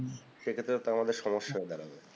সে ক্ষেত্রে তো আমাদের সমস্যা হয়ে দাড়াবে